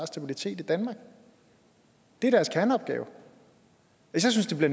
stabilitet i danmark det er deres kerneopgave jeg synes det vi